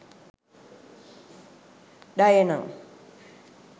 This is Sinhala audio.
dayana